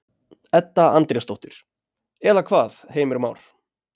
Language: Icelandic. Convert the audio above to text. Edda Andrésdóttir: Eða hvað, Heimir Már?